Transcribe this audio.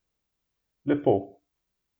Lepo.